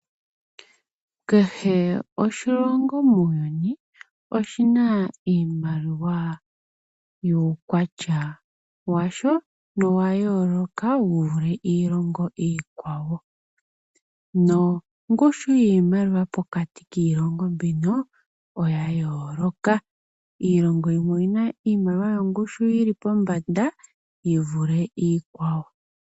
Kehe oshilongo muuyuni oshina iimaliwa yuukwatya washo nowa yooloka wu vule iilongo iikwawo nongushu yiimaliwa pokati kiilongo mbino oya yooloka. Iilongo yimwe oyina iimaliwa yongushu yili pombanda yi vule iikwawo.